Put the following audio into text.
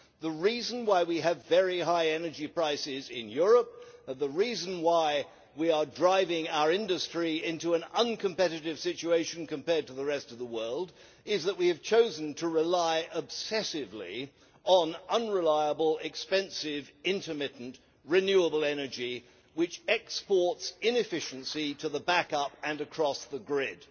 The reason why we have very high energy prices in Europe and the reason why we are driving our industry into an uncompetitive situation compared to the rest of the world is that we have chosen to rely obsessively on unreliable, expensive, intermittent renewable energy which exports inefficiency to the backup and across the grid.